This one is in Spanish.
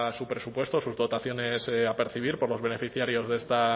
su presupuesto sus dotaciones a percibir por los beneficiarios de esta